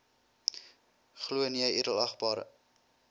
glo nee edelagbare